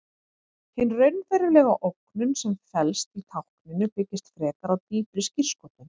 Hin raunverulega ógnun sem felst í tákninu byggist frekar á dýpri skírskotun.